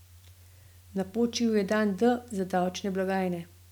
Napočil je dan D za davčne blagajne.